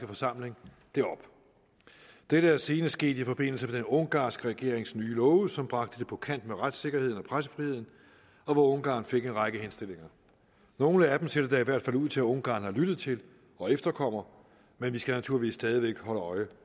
forsamling det op dette er senest sket i forbindelse med den ungarnske regerings nye love som bragte det på kant med retssikkerheden og pressefriheden og hvor ungarn fik en række henstillinger nogle af dem ser det da i hvert fald ud til at ungarn har lyttet til og efterkommer men vi skal naturligvis stadig væk holde øje